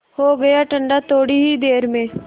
हो गया ठंडा थोडी ही देर में